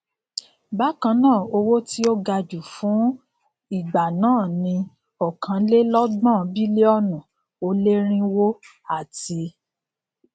bákannáà owó tí o gaju fun ìgbà náà ni okanlelogbọn bílíọnù o leerinwo ati